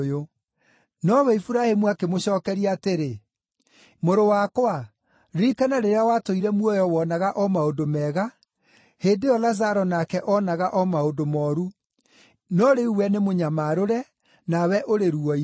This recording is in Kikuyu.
“Nowe Iburahĩmu akĩmũcookeria atĩrĩ, ‘Mũrũ wakwa, ririkana rĩrĩa watũire muoyo woonaga o maũndũ mega, hĩndĩ ĩyo Lazaro nake oonaga o maũndũ mooru, no rĩu we nĩmũnyamarũre, nawe ũrĩ ruo-inĩ.